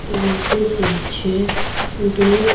उनके पीछे दो--